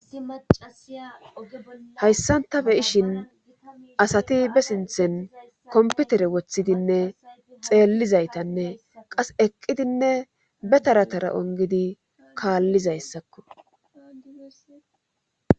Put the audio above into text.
acasiyahayssanta beyishin asati be sinthen komputere woththidinne xeellizaytanne qas eqqidinne be taratara ongidi kaallizayssakko